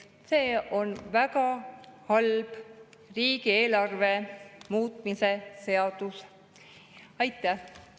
See on väga halb riigieelarve muutmise seaduse.